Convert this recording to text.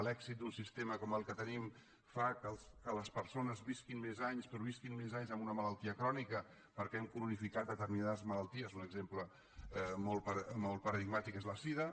l’èxit d’un sistema com el que tenim fa que les persones visquin més anys però visquin més anys amb una malaltia crònica perquè hem cronificat determinades malalties un exemple molt paradigmàtic és la sida